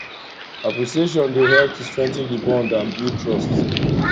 appreciatioin dey help to strengthen di bond and build trust